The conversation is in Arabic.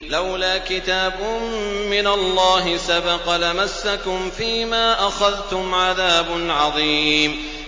لَّوْلَا كِتَابٌ مِّنَ اللَّهِ سَبَقَ لَمَسَّكُمْ فِيمَا أَخَذْتُمْ عَذَابٌ عَظِيمٌ